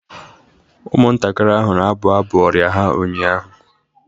Ụmụntakịrị ahụ na-abụ abụ ọrịa ha ụnyahụ